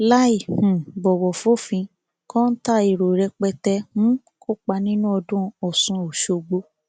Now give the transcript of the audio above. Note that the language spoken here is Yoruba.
láì um bọwọ fòfin kọńtà èrò rẹpẹtẹ um kópa nínú ọdún ọsùn ọṣọgbó